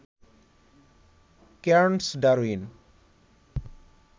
Cairns, Darwin